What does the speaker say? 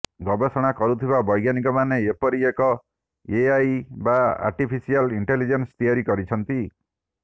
ଗବେଷଣା କରୁଥିବା ବୈଜ୍ଞାନିକମାନେ ଏପରି ଏକ ଏଆଇ ବା ଆର୍ଟିଫିସିଆଲ୍ ଇଣ୍ଟିଲିଜେନ୍ସି ତିଆରି କରିଛନ୍ତି